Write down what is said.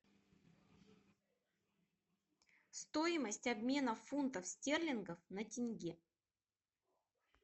стоимость обмена фунтов стерлингов на тенге